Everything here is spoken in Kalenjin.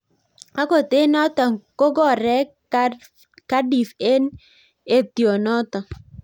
Akot eng notok kokorek Cardiff eng etionotok